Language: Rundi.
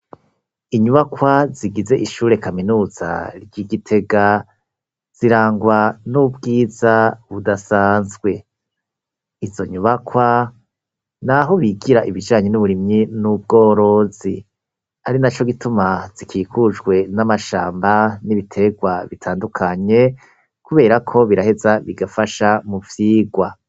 Inyubakwa zigize ishure kaminuza ry'i Gitega zirangwa n'ubwiza budasanzwe, izo nyubakwa ni aho bigira ibijanye n'uburimyi n'ubworozi, ari naco gituma zikikujwe n'amashamba n'ibiterwa bitandukanye kubera ko biraheza bigafasha mu vyirwa.